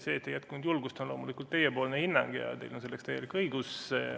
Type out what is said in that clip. See, et ei jätkunud julgust, on loomulikult teie hinnang ja teil on selleks täielik õigus.